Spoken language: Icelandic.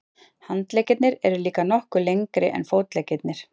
Handleggirnir eru líka nokkuð lengri en fótleggirnir.